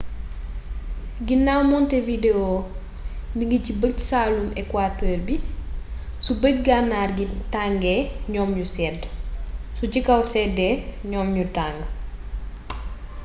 ginaaw montevideo mingi ci bëj-saalumu equateur bi su bëj-gànnaar gi tàngee ñoom ñu sedd su ci kaw séddee ñoom ñu tàng